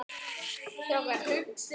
Hún brosti bjartar en Pamela.